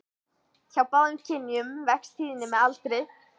Hjá báðum kynjum vex tíðnin með aldrinum.